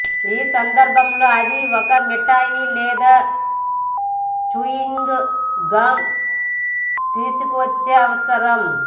ఈ సందర్భంలో అది ఒక మిఠాయి లేదా చూయింగ్ గమ్ తీసుకొచ్చే అవసరం